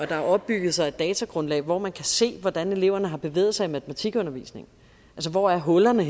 der har opbygget sig et datagrundlag hvor man kan se hvordan eleverne har bevæget sig i matematikundervisningen hvor hullerne